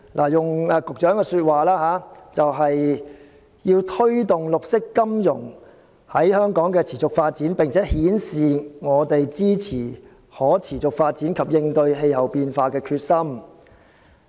按局長的說法，目的是要推動綠色金融在香港的持續發展，並展示香港支持可持續發展及應對氣候變化的決心。